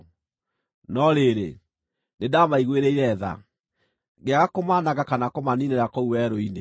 No rĩrĩ, nĩndamaiguĩrĩire tha, ngĩaga kũmaananga kana kũmaniinĩra kũu werũ-inĩ.